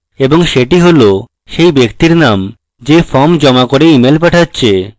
এবং সেটি হল সেই ব্যক্তির name যে form জমা দিয়ে email পাঠাচ্ছে